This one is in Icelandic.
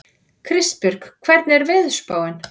Kristbjörg, hvernig er veðurspáin?